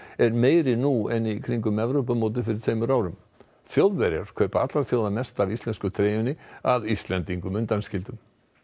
er meiri nú en í kringum Evrópumótið fyrir tveimur árum Þjóðverjar kaupa allra þjóða mest af íslensku treyjunni að Íslendingum undanskildum